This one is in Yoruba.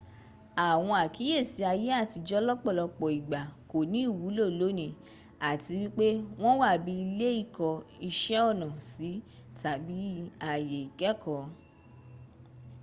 àwọn àkíyèsí ayé àtijó lọ́pòlọpọ̀ ìgbà kò ní ìwúlò lónìí àti wípé wọn wà bi ilé ìkó iṣẹ́ ọnà sí tàbí àyè ikẹẹ̀kọ.